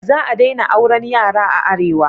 Za a daina auran yara a arewa